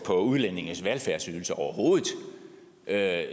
udlændinges velfærdsydelser overhovedet så jeg